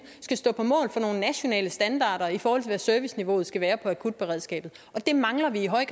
skal stå på mål for nogle nationale standarder i forhold til hvad serviceniveauet skal være for akutberedskabet det mangler vi i høj